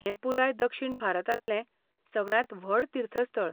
हें पुराय दक्षिण भारतांतलें सगळ्यांत व्हड तीर्थस्थळ.